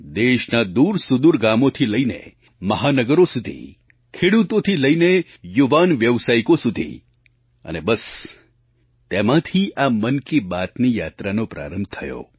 દેશનાં દૂરસુદૂર ગામોથી લઈને મહાનગરો સુધી ખેડૂતોથી લઈને યુવાન વ્યાવસાયિકો સુધી અને બસ તેમાંથી આ મન કી બાતની યાત્રાનો પ્રારંભ થયો